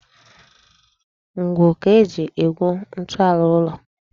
Ngwu ka e ji egwu ntọala ụlọ.